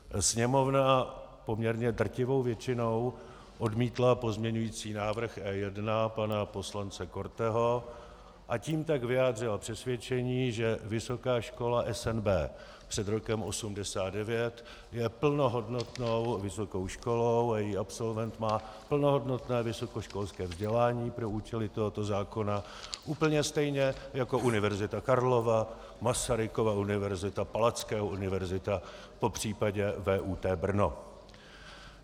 Sněmovna poměrně drtivou většinou odmítla pozměňovací návrh E1 pana poslance Korteho, a tím tak vyjádřila přesvědčení, že Vysoká škola SNB před rokem 1989 je plnohodnotnou vysokou školou a její absolvent má plnohodnotné vysokoškolské vzdělání pro účely tohoto zákona úplně stejně jako Univerzita Karlova, Masarykova univerzita, Palackého univerzita popřípadě VUT Brno.